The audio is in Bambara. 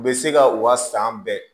U bɛ se ka u ka san bɛɛ